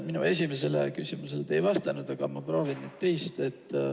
Minu esimesele küsimusele te ei vastanud, aga ma proovin nüüd teist.